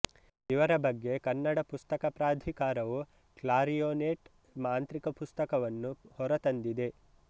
ಇವರ ಬಗ್ಗೆ ಕನ್ನಡ ಪುಸ್ತಕ ಪ್ರಾಧಿಕಾರವು ಕ್ಲಾರಿಯೋನೆಟ್ ಮಾಂತ್ರಿಕ ಪುಸ್ತಕವನ್ನು ಹೊರತಂದಿದೆ